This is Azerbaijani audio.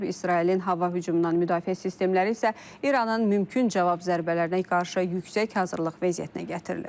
İsrailin hava hücumundan müdafiə sistemləri isə İranın mümkün cavab zərbələrinə qarşı yüksək hazırlıq vəziyyətinə gətirilib.